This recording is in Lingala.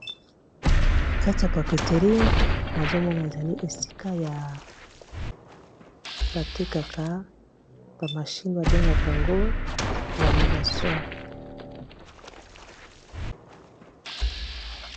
kati ya papeterie nazomona ezali esika ya batekaka bamashine babengaka yango lamination